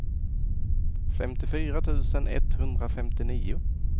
femtiofyra tusen etthundrafemtionio